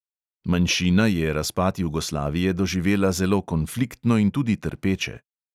Manjšina je razpad jugoslavije doživela zelo konfliktno in tudi trpeče.